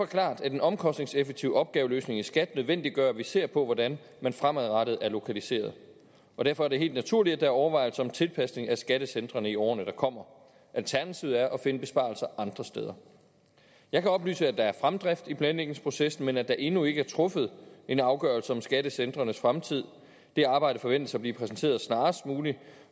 klart at en omkostningseffektiv opgaveløsning i skat nødvendiggør at vi ser på hvordan man fremadrettet er lokaliseret derfor er det helt naturligt at der er overvejelser om tilpasning af skattecentrene i årene der kommer alternativet er at finde besparelser andre steder jeg kan oplyse at der er fremdrift i planlægningsprocessen men at der endnu ikke er truffet en afgørelse om skattecentrenes fremtid det arbejde forventes at blive præsenteret snarest muligt